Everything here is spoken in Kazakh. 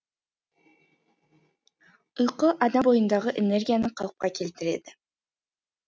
ұйқы адам бойындағы энергияны қалыпқа келтіреді